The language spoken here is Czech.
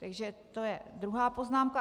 Takže to je druhá poznámka.